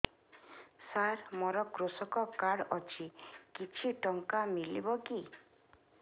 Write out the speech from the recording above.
ସାର ମୋର୍ କୃଷକ କାର୍ଡ ଅଛି କିଛି ଟଙ୍କା ମିଳିବ କି